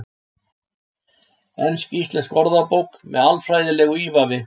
Ensk-íslensk orðabók með alfræðilegu ívafi.